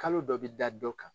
Kalo dɔ bi da dɔ kan.